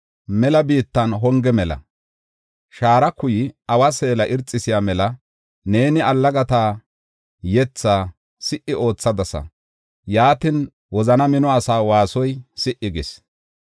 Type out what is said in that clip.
mela biittan honge mela. Shaara kuyay awa seela irxisiya mela neeni allagata yethaa si77i oothadasa; yaatin wozana mino asaa waasoy si77i gis.